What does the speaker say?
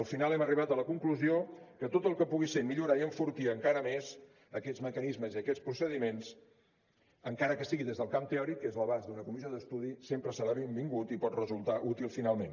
al final hem arribat a la conclusió que tot el que pugui ser millorar i enfortir encara més aquests mecanismes i aquests procediments encara que sigui des del camp teòric que és l’abast d’una comissió d’estudi sempre serà benvingut i pot resultar útil finalment